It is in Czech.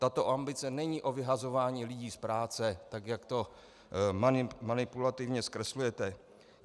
Tato ambice není o vyhazování lidí z práce, tak jak to manipulativně zkreslujete.